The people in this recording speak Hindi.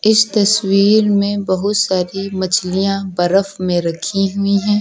इस तस्वीर में बहुत सारी मछलियां बर्फ में रखी हुई है।